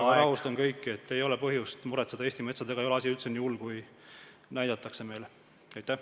Aga rahustan kõiki: ei ole põhjust muretseda, Eesti metsadega ei ole asi üldse nii hull, kui meile püütakse näidata.